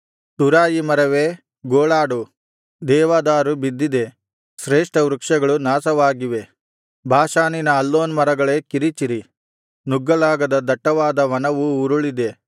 ತುರಾಯಿ ಮರವೇ ಗೋಳಾಡು ದೇವದಾರು ಬಿದ್ದಿದೆ ಶ್ರೇಷ್ಠವೃಕ್ಷಗಳು ನಾಶವಾಗಿವೆ ಬಾಷಾನಿನ ಅಲ್ಲೋನ್ ಮರಗಳೇ ಕಿರಿಚಿರಿ ನುಗ್ಗಲಾಗದ ದಟ್ಟವಾದ ವನವು ಉರುಳಿದೆ